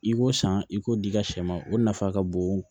I ko san i k'o di i ka sɛ ma o nafa ka bon